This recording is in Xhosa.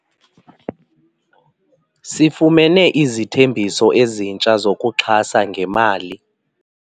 Sifumene izithembiso ezintsha zokuxhasa ngemali.